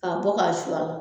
K'a bɔ k'a su a la